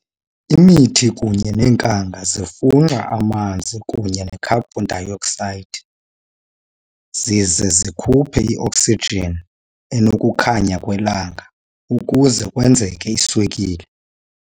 Imithi kunye nenkanga zifunxa amanzi kunye necarbon dioxide zize sikhuphe ioxygen enokukhanya kwelanga ukuze kwenzeke iswekile.